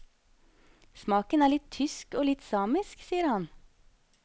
Smaken er litt tysk og litt samisk, sier han.